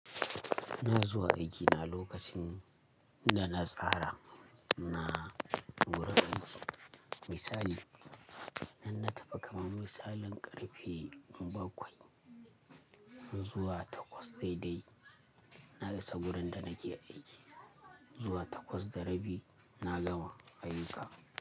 Ina zuwa aiki na lokacin, da na tsara na, gurin aiki. Misali, in na tafi kamar misalin ƙarfe bakwai, zuwa takwas daidai na isa gurin da nake aiki. Zuwa takwas da rabi na gama ayyuka.